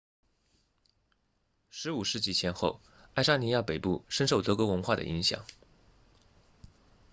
15世纪前后爱沙尼亚北部深受德国文化的影响